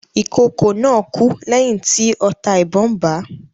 Ìkokò náà kú lẹ́yìn tí ọta ìbọn bà á.